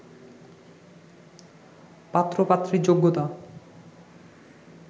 পাত্র-পাত্রীর যোগ্যতা